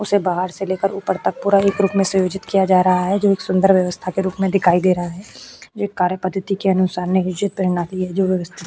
उसे बाहर से लेकर ऊपर तक पूरा ही ग्रुप में सयोजित किया जा रहा है जो एक सुंदर व्यवस्था के रूप मे दिखाई दे रहा है। यह कार्य पध्दती के अनुसार नियोजित प्रणाली है जो --